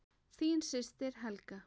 Þín systir Helga.